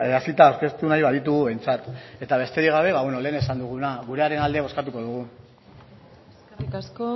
hasita aurkeztu nahi baditugu behintzat eta besterik gabe ba beno lehen esan duguna gurearen alde bozkatuko dugu eskerrik asko